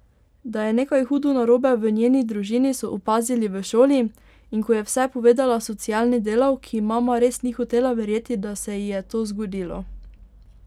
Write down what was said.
Da je nekaj hudo narobe v njeni družini, so opazili v šoli, in ko je vse povedala socialni delavki, mama res ni hotela verjeti, da se ji je to zgodilo.